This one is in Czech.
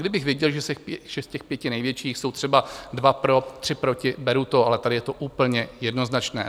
Kdybych věděl, že z těch pěti největších jsou třeba dva pro, tři proti, beru to, ale tady je to úplně jednoznačné.